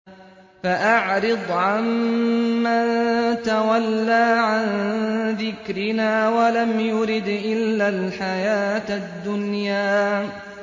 فَأَعْرِضْ عَن مَّن تَوَلَّىٰ عَن ذِكْرِنَا وَلَمْ يُرِدْ إِلَّا الْحَيَاةَ الدُّنْيَا